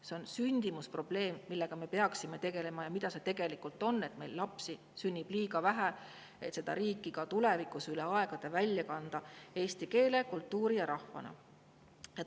See on sündimuse probleem, millega me peaksime tegelema ja mis see tegelikult on: meil sünnib lapsi liiga vähe, et seda riiki ka tulevikus, üle aegade pidada eesti keeles, eesti kultuuriga ja rahvana.